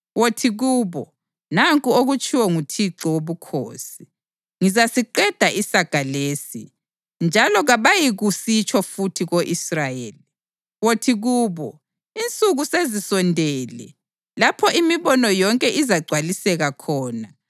Wothi kubo, ‘Nanku okutshiwo nguThixo Wobukhosi: Ngizasiqeda isaga lesi, njalo kabayikusitsho futhi ko-Israyeli.’ Wothi kubo, ‘Insuku sezisondele lapho imibono yonke izagcwaliseka khona.